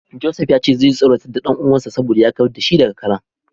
Joseph ya ce zai tsoratar da dan uwansa saboda ya kawar da shi daga karen.